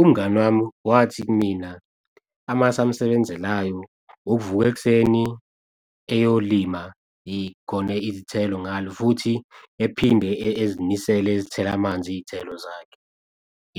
Umngani wami wathi kumina, amasu amsebenzelayo ukuvuka ekuseni eyolima khona izithelo ngalo futhi ephinde ezimisele ezithela amanzi iy'thelo zakhe,